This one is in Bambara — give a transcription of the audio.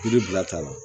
Yiri bilata la